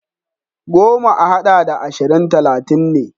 Goma a haɗa da ashirin talatin ne.